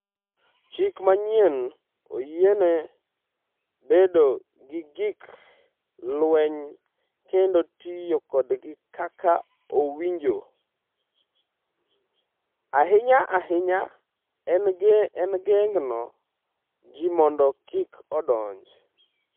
“Chik manyien oyiene bedo gi gik lweny kendo tiyo kodgi kaka owinjo, ahinya ahinya e geng’o ji mondo kik odonj.”